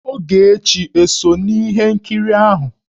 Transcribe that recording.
Ogechi ò so n'ihe nkiri ahụ?